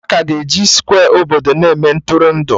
Aka ga-eji Skwe obodo na-eme Ntụrụndụ